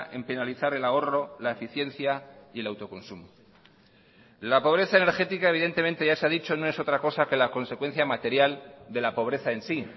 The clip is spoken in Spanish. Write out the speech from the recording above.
en penalizar el ahorro la eficiencia y el autoconsumo la pobreza energética evidentemente ya se ha dicho no es otra cosa que la consecuencia material de la pobreza en sí